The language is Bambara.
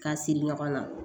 K'a siri ɲɔgɔn na